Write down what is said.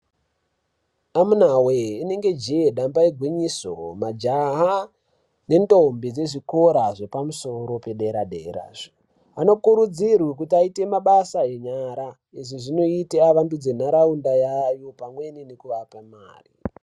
Amunawe inenge jeye damba igwinyiso majaha ne ndombi dzezvikora zvepamusoro pedera dera anokurudzirwa kuti aite mabasa enyara izvi zvinota vavandudze nharaunda yayo pamweni nekuvapa mare.